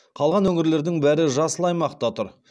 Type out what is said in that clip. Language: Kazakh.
қалған өңірлердің бәрі жасыл аймақта тұр